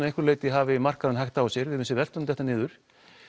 einhverju leyti hafi markaðurinn hægt á sér veltan dettur niður